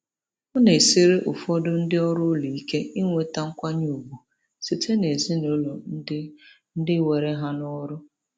Ọ na-esiri ụfọdụ ndị ọrụ ụlọ ike inweta nkwanye ùgwù site n'ezinụlọ ndị ndị were ha n'ọrụ.